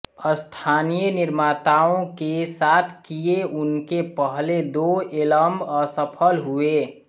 स्थानीय निर्माताओं के साथ किए उनके पहले दो एल्बम असफल हुए